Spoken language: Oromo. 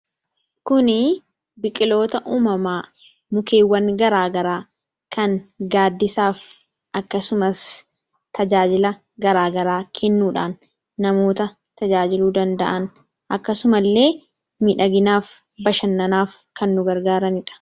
kuni biqiloota uumamaa mukeewwan garaagaraa kan gaaddisaaf akkasumas tajaajila garaagaraa kennuudhaan namoota tajaajiluu danda'an akkasuma illee midhaginaaf bashannanaaf kan nu gargaaranidha.